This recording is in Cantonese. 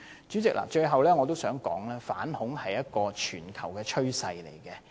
主席，最後我想說，反恐是一個全球趨勢。